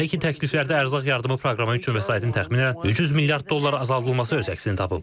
Belə ki, təkliflərdə ərzaq yardımı proqramı üçün vəsaitin təxminən 300 milyard dollar azaldılması öz əksini tapıb.